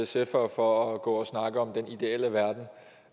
sfere for at for at gå og snakke om den ideelle verden